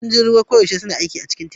Sojojin ruwa koyaushe suna aiki a cikin teku.